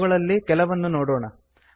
ಅವುಗಳಲ್ಲಿ ಕೆಲವನ್ನು ನೋಡೋಣ